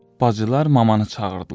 Bacılar mamanı çağırdılar.